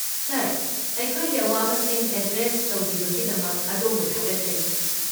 ꯁꯥꯔ, ꯑꯩꯈꯣꯏꯒꯤ ꯑꯋꯥꯕꯁꯤꯡ ꯑꯦꯗ꯭ꯔꯦꯁ ꯇꯧꯕꯤꯕꯒꯤꯗꯃꯛ ꯑꯗꯣꯝꯕꯨ ꯊꯥꯒꯠꯆꯔꯤ꯫